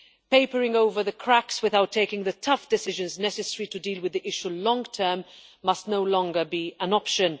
Papering over the cracks without taking the tough decisions necessary to deal with the issue in the long term must no longer be an option.